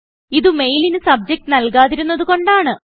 ഇതു മെയിലിന് സബ്ജക്റ്റ് നല്കാതിരുന്നത് കൊണ്ടാണ്